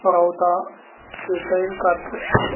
बरौदा के बैंक का दृश्य है।